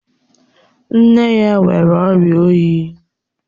Nne ya nwere ọ̀ria oyi